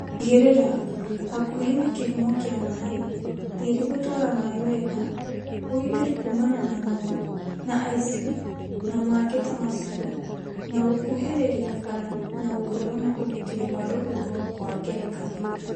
Tigĩrĩra; hakuhĩ na kĩhumo kĩa maĩ, tĩĩrĩ gũtwara maĩ wega, ũgitĩri kuumana na nyamũ na aici na mangĩ ta macio, na gũkuhĩrĩria bara na gũkorwo na ugitĩri wa rũhuho kwa ngerekano